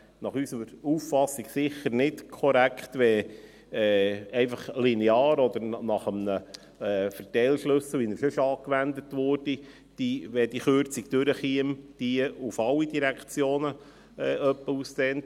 Nach unserer Auffassung wäre es sicher nicht korrekt, einfach linear oder nach einem Verteilschlüssel, wie er sonst angewandt wird, die Kürzungen auf alle Direktionen auszudehnen.